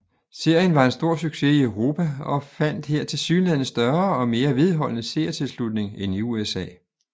Serien var en stor succes i Europa og fandt her tilsyneladende større og mere vedholdende seertilslutning end i USA